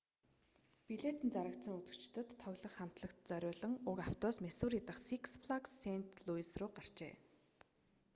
билет нь зарагдсан үзэгчдэд тоглох хамтлагт зориулан уг автобус миссури дахь сикс флагс сэйнт луйс рүү гарчээ